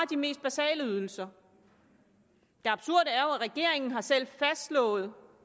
de mest basale ydelser det absurde er regeringen selv har fastslået